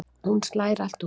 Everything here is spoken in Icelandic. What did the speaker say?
Hún slær allt út.